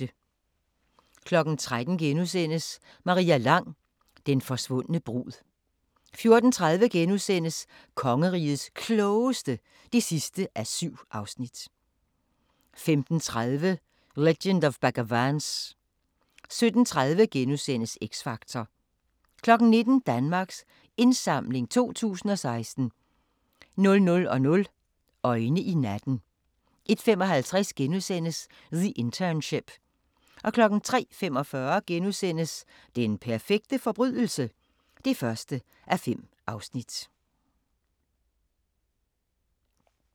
13:00: Maria Lang: Den forsvundne brud * 14:30: Kongerigets Klogeste (7:7)* 15:30: Legend of Bagger Vance 17:30: X Factor * 19:00: Danmarks Indsamling 2016 00:00: Øjne i natten 01:55: The Internship * 03:45: Den perfekte forbrydelse? (1:5)*